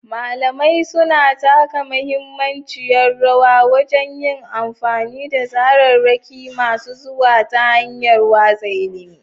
Malamai suna taka muhimmiyar rawa wajen yin amfani da tsararraki masu zuwa ta hanyar watsa ilimi.